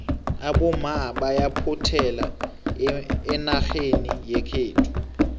abomma bayaphothela enarheni yekhethu